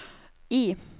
I